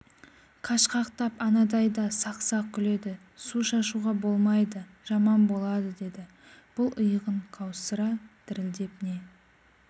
қашқақтап анадайда сақ-сақ күледі су шашуға болмайды жаман болады деді бұл иығын қаусыра дірілдеп не